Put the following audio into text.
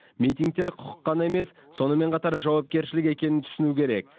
митингтер құқық қана емес сонымен қатар жауапкершілік екенін түсіну керек